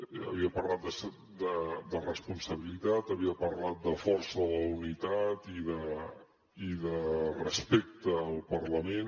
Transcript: ja havia parlat de responsabilitat havia parlat de força de la unitat i de respecte al parlament